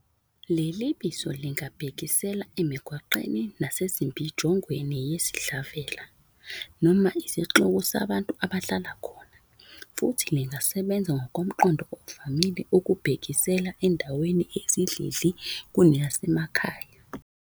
Leli bizo lingabhekisela emigwaqweni nasembijongweni yesidlavela noma isixuku sabantu abahlala khona, futhi lingasebenza ngomqondo ovamile ukubhekisela endaweni eyisidlidli kuneyase makhaya.